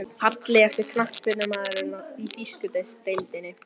Fallegasti knattspyrnumaðurinn í þýsku deildinni?